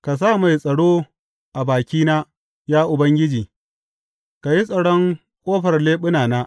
Ka sa mai tsaro a bakina, ya Ubangiji; ka yi tsaron ƙofar leɓunana.